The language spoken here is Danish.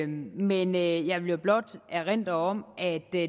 men jeg vil blot erindre om at der